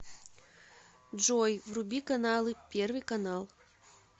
джой вруби каналы первый канал